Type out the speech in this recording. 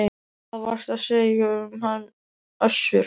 Hvað varstu að segja um hann Össur?